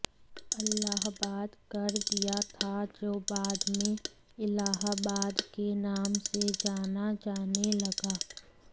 अल्लाहबाद कर दिया था जो बाद में इलाहाबाद के नाम से जाना जाने लगा